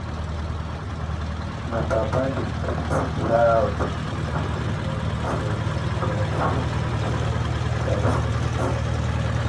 my papa dey greet loud make people know say e don show before e price meat.